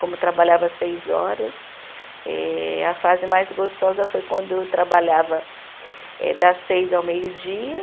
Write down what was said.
Como eu trabalhava seis horas, eh a fase mais gostosa foi quando eu trabalhava eh das seis ao meio-dia.